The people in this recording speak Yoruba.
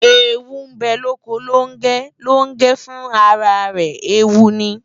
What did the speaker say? Eewu bę loko Longę, Longę fun ara rę eewu ni